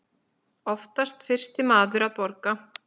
Oftast fyrsti maður að borga.